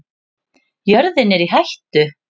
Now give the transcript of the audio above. Jörðin er í hættu